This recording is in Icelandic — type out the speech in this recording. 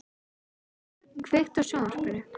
Baldrún, kveiktu á sjónvarpinu.